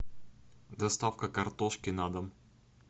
доставка картошки на дом